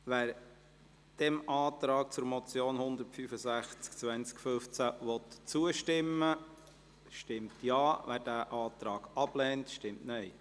Wer dem Antrag betreffend die Motion 165-2015 zustimmen will, stimmt Ja, wer diesen Antrag ablehnt, stimmt Nein.